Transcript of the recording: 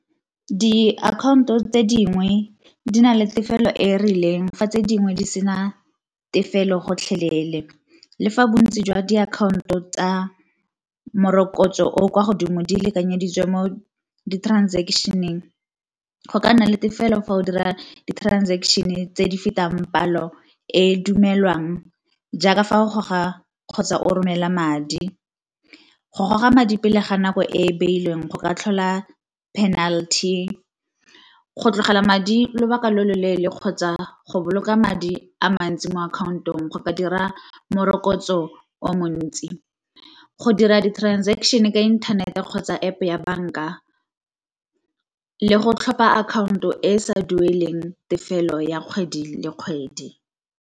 Diakhaonto tse dingwe di na le tefelo e e rileng fa tse dingwe di sena tefelo gotlhelele. Le fa bontsi jwa diakhaonto tsa morokotso o o kwa godimo di lekanyeditswe mo di-transaction-eng go ka nna le tefelo fa o dira di-transaction-e tse di fetang palo e dumelwang jaaka fa o goga kgotsa o romela madi. Go goga madi pele ga nako e e beilweng go ka tlhola penalty, go tlogela madi lobaka lo loleele kgotsa go boloka madi a mantsi mo akhaontong go ka dira morokotso o montsi. Go dira di-transaction ka internet-e kgotsa App ya banka le go tlhopha akhaonto e e sa dueleng tefelo ya kgwedi le kgwedi.